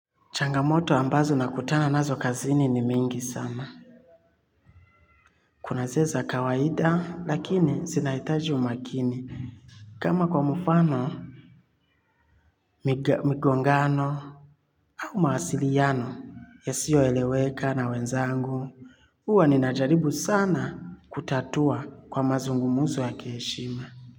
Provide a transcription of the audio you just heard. Changamoto ambazo nakutana nazo kazini ni mingi sana. Kuna zile za kawaida lakini zinahitaji umakini. Kama kwa mfano, migongano au mawasiliano yasioeleweka na wenzangu. Huwa ninajaribu sana kutatua kwa mazungumzo ya kiheshima.